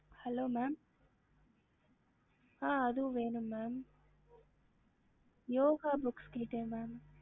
ஹம்